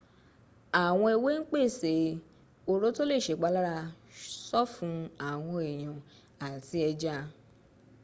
àwọn ewé ń pèsè oró tó lè sèpalára sọ́fun àwọn èèyàn àti ẹja